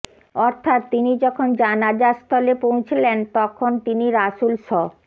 অর্থাৎ তিনি যখন জানাযা স্থলে পৌঁছলেন তখন তিনি রাসূল স